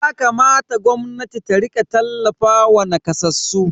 Yakamata gwamnatin ta rika tallafawa nakasassu.